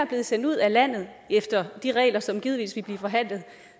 blevet sendt ud af landet efter de regler som givetvis vil blive forhandlet